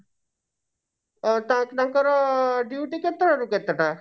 ଅ ତାହେଲେ ତାଙ୍କର duty କେତେ ଟା ରୁ କେତେ ଟା?